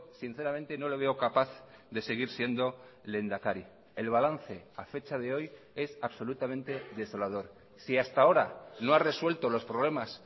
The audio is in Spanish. sinceramente no le veo capaz de seguir siendo lehendakari el balance a fecha de hoy es absolutamente desolador si hasta ahora no ha resuelto los problemas